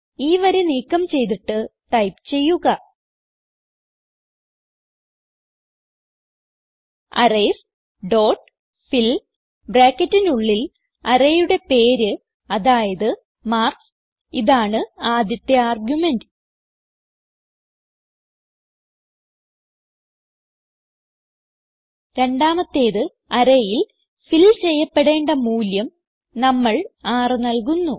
ഈ വരി നീക്കം ചെയ്തിട്ട് ടൈപ്പ് ചെയ്യുക അറേയ്സ് ഡോട്ട് ഫിൽ ബ്രാക്കറ്റിനുള്ളിൽ arrayയുടെ പേര് അതായത് മാർക്ക്സ് ഇതാണ് ആദ്യത്തെ ആർഗുമെന്റ് രണ്ടാമത്തേത് arrayയിൽ ഫിൽ ചെയ്യപ്പെടേണ്ട മൂല്യം നമ്മൾ 6 നൽകുന്നു